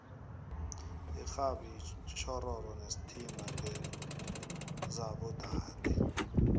ixhabi itjhoshoro nesithimba ngesaba dade